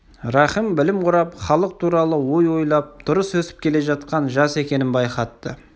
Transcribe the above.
рахым білім құрап халық туралы ой ойлап дұрыс өсіп келе жатқан жас екенін байқатты